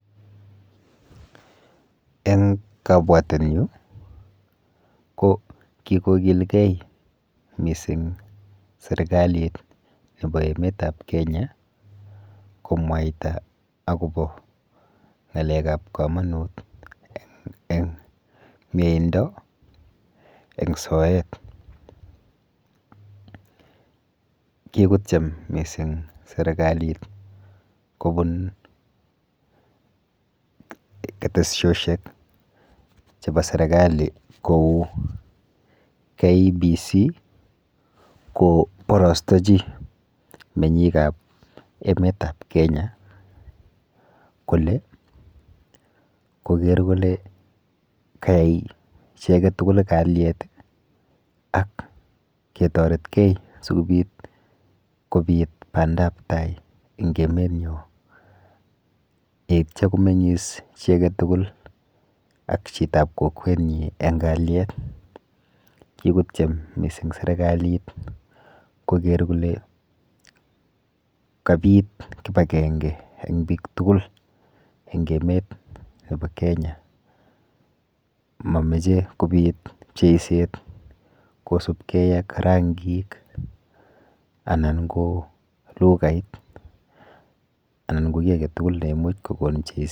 Eng kabwatenyu ko kikokilgei mising serikalit nepo emetap Kenya komwaita akopo ng'alekap komonut eng mieindo eng soet. Kikotyem mising serikalit kobun keteshoshek chepo serekali kou KBC koborostochi menyikap emetap Kenya kole koker kole kayai chi aketugul kalyet ak ketoretkei sikobit bandaptai eng emenyo yeityo komeng'is chi aketugul ak chitap kokwenyi eng kalyet. kikotyem mising serikalit koker kole kapit kipakenge eng biik tugul eng emetap Kenya. Mameche kobit pcheyset kosubkei ak rangik anan ko lughait anan ko ki aketugul neimuch kokon ...